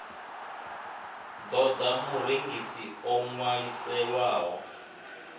ṱo ḓa murengisi o ṅwaliselwaho